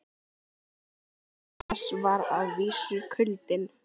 Fylgifiskur þess var að vísu kuldinn.